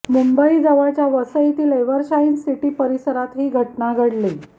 मुंबईजवळच्या वसईतील Evershine city परिसरात ही घटना घडली